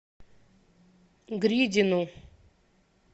гридину